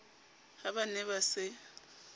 ha ba ne ba se